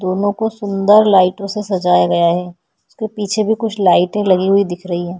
दोनों को सुन्दर लाइटे से सजाया गया हैं इसके पीछे भी कुछ लाइटे लगी हुई दिख रही हैं।